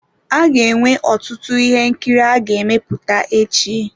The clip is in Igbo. A ga-enwe ọtụtụ ihe nkiri a ga-emepụta echi.